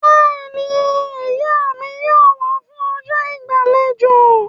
Bẹ́ẹ̀ni, Ìyá mi yóò wá fún ọjọ́ ìgbàlejò